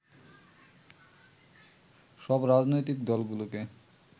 সব রাজনৈতিক দলগুলোকে